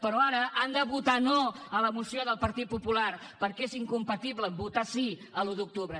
però ara han de votar no a la moció del partit popular perquè és incompatible amb votar sí l’un d’octubre